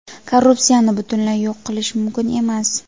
korrupsiyani butunlay yo‘q qilish mumkin emas.